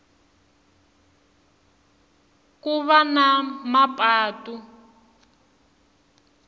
ku va na mapatu